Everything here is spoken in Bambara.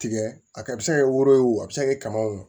Tigɛ a bɛ se ka kɛ woro ye o a bɛ se ka kɛ kaba